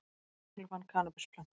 Lögregla fann kannabisplöntur